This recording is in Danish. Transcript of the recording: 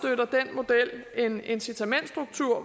model en incitamentsstruktur